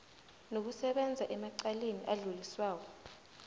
nokusebenza emacaleni adluliswako